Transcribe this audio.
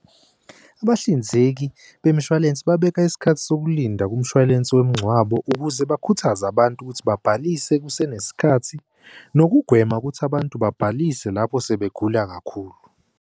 Abahlinzeki bemshwalense babeka isikhathi sokulinda kumshwalense womngcwabo ukuze bakhuthaze abantu ukuthi babhalise kusenesikhathi, nokugwema ukuthi abantu babhalise lapho sebegula kakhulu.